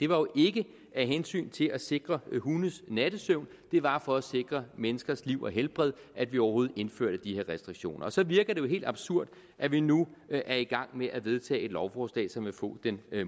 var jo ikke af hensyn til at sikre hundes nattesøvn det var for at sikre menneskers liv og helbred at vi overhovedet indførte de her restriktioner og så virker det jo helt absurd at vi nu er i gang med at vedtage et lovforslag som vil få den